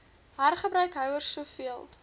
hergebruik houers soveel